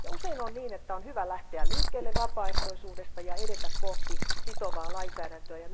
Usein on niin, että on hyvä lähteä liikkeelle vapaaehtoisuudesta ja edetä kohti sitovaa lainsäädäntöä.